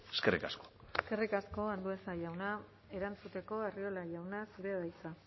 eskerrik asko eskerrik asko andueza jauna erantzuteko arriola jauna zurea da hitza